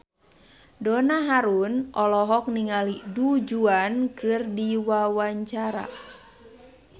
Donna Harun olohok ningali Du Juan keur diwawancara